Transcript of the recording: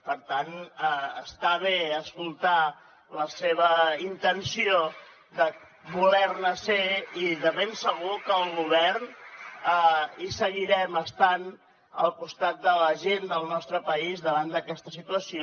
per tant està bé escoltar la seva intenció de voler ne ser i de ben segur que el govern hi seguirem estant al costat de la gent del nostre país davant d’aquesta situació